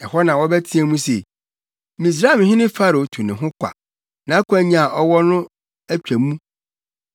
Ɛhɔ na wɔbɛteɛ mu se, ‘Misraimhene Farao tu ne ho kwa; nʼakwannya a ɔwɔ no atwa mu.’